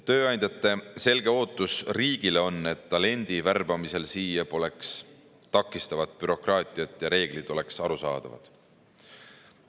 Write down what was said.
Tööandjate selge ootus riigile on, et talendi värbamisel siia poleks takistavat bürokraatiat ja reeglid oleks arusaadavad.